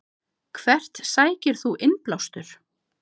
Hvert sækir þú innblástur?